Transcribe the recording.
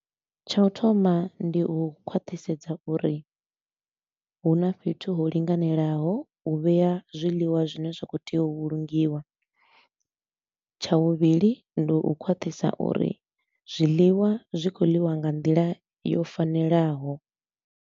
Tsha u thoma ndi u khwaṱhisedza uri hu na fhethu ho linganelaho u vhea zwiḽiwa zwine zwa kho tea u vhulungiwa. Tsha vhuvhili ndi u khwaṱhisa uri zwiḽiwa zwi khou ḽiwa nga nḓila yo fanelaho.